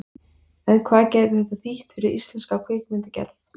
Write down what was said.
En hvað gæti þetta þýtt fyrir íslenska kvikmyndagerð?